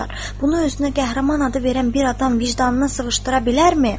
Bunu özünə qəhrəman adı verən bir adam vicdanına sığışdıra bilərmi?